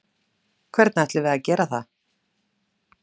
Hvernig ætlum við að gera það?